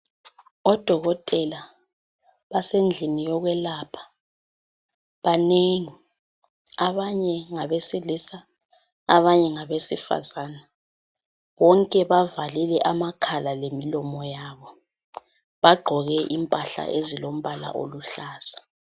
Odokotela basendlini yokwelapha banengi, abanye ngabesilisa abanye ngabesifazana bonke bavalile amakhala lemilomo yabo. Bagqoke impahla ezilo mbala oluhlaza.